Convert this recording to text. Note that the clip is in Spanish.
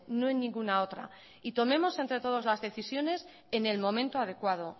no en ninguna otra tomemos entre todos las decisiones en el momento adecuado